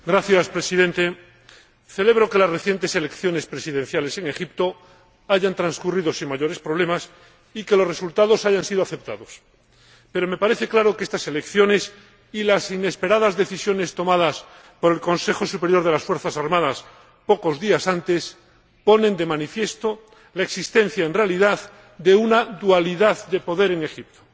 Señor Presidente, celebro que las recientes elecciones presidenciales en Egipto hayan transcurrido sin mayores problemas y que los resultados hayan sido aceptados, pero me parece claro que estas elecciones y las inesperadas decisiones tomadas por el Consejo Superior de las Fuerzas Armadas pocos días antes ponen de manifiesto la existencia, en realidad, de una dualidad de poder en Egipto.